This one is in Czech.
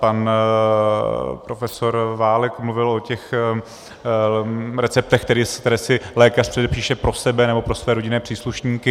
Pan profesor Válek mluvil o těch receptech, které si lékař předepíše pro sebe nebo pro své rodinné příslušníky.